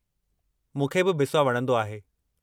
मूंखे बि बिस्वा वणंदो आहे।